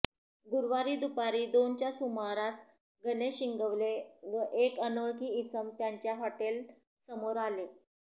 गुरुवारी दुपारी दोनच्या सुमारास गणेश इंगवले व एक अनोळखी इसम त्यांच्या हॉटेल समोर आले